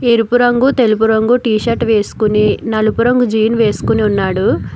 ఎరుపురంగు తెలుగు రంగు t-shirt వే సుకుని నలుపు రంగు జీన్ వేసుకుని ఉన్నాడు.